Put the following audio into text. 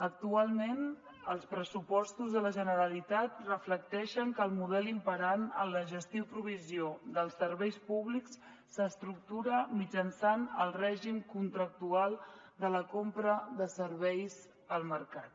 actualment els pressupostos de la generalitat reflecteixen que el model imperant en la gestió i provisió dels serveis públics s’estructura mitjançant el règim contractual de la compra de serveis al mercat